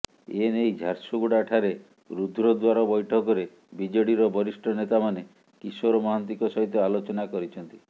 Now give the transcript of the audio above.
ଏ ନେଇ ଝାରସୁଗୁଡ଼ା ଠାରେ ରୁଦ୍ଧଦ୍ୱାର ବୈଠକରେ ବିଜେଡିର ବରିଷ୍ଠ ନେତାମାନେ କିଶୋର ମହାନ୍ତିଙ୍କ ସହିତ ଆଲୋଚନା କରିଛନ୍ତି